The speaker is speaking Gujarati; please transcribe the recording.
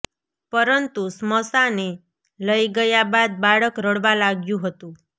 પરંતુ સ્મશાને લઈ ગયા બાદ બાળક રડવા લાગ્યું હતું